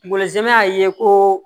Kungolosɛmɛ y'a ye ko